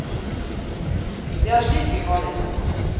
Det er slik vi har det no.